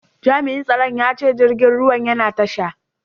Jami'in tsaron ya ce jirgin ruwan yana tasha.